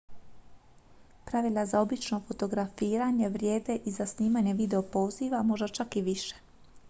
pravila za obično fotografiranje vrijede i za snimanje videozapisa možda čak i više